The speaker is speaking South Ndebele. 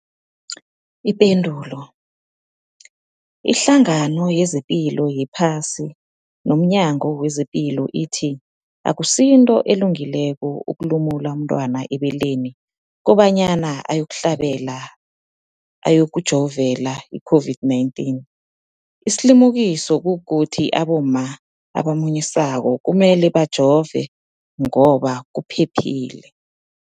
Ipendulo, iHlangano yezePilo yePhasi nomNyango wezePilo ithi akusinto elungileko ukulumula umntwana ebeleni kobanyana uyokuhlabela, uyokujovela i-COVID-19. Isilimukiso kukuthi abomma abamunyisako kumele bajove ngoba kuphephile.